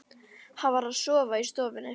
Hann varð að sofa í stofunni.